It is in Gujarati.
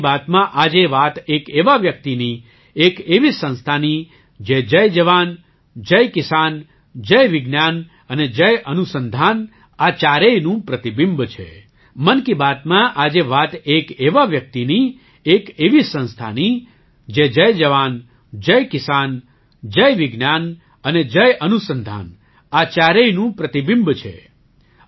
મન કી બાતમાં આજે વાત એક એવા વ્યક્તિની એક એવી સંસ્થાની જે જય જવાન જય કિસાન જય વિજ્ઞાન અને જય અનુસંધાન આ ચારેયનું પ્રતિબિંબ છે